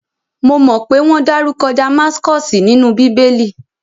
Mo mọ pé wọ́n dárúkọ Damaskosi nínú bíbé!lì